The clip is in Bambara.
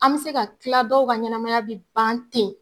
An me se ka kila dɔw ka ɲɛnɛmaya bi ban ten